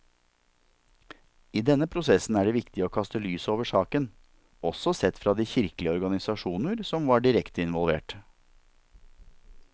I denne prosessen er det viktig å kaste lys over saken, også sett fra de kirkelige organisasjoner som var direkte involvert.